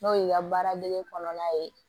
N'o y'i ka baara dege kɔnɔna ye